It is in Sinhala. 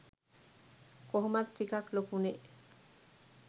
කොහොමත් ටිකක් ලොකුනෙ'